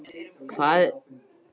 Hallfríður, hvað er að frétta?